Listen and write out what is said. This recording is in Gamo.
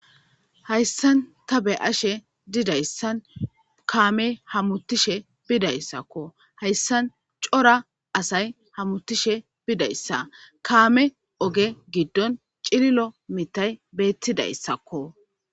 hayissani ta be'ashe dizayissani kameyi hamutishe bidayissako hayssani coora assayi hamutishe bidayissa kame ogge giddoni cililo mithay betidayisako